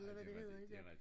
Eller hvad det hedder det dér